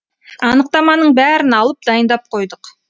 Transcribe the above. анықтаманың бәрін алып дайындап қойдық